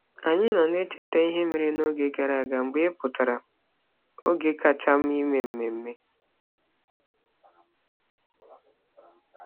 Anyị nọ na-echeta ihe mere n'oge gara aga mgbe ị pụtara - oge kacha mma ime mmemme.